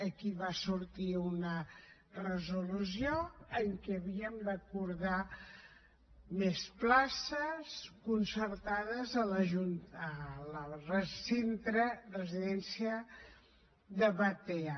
aquí va sortir una resolució en què havíem d’acordar més places concertades al centre residència de batea